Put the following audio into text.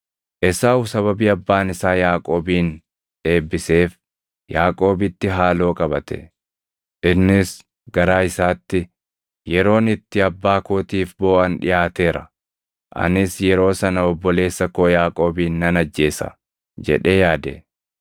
Esaawu sababii abbaan isaa Yaaqoobin eebbiseef Yaaqoobitti haaloo qabate. Innis garaa isaatti, “Yeroon itti abbaa kootiif booʼan dhiʼaateera; anis yeroo sana obboleessa koo Yaaqoobin nan ajjeesa” jedhee yaade.